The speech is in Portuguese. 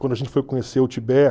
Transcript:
Quando a gente foi conhecer o Tibete.